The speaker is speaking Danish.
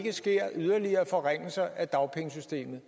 ske yderligere forringelser af dagpengesystemet